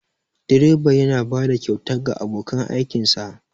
direba yana bada kyauta ga abokan aikinsa